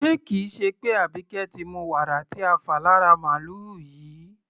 Ṣé kì í ṣe pé Àbíkẹ́ ti mu wàrà tí a fà lára màlùú yìí?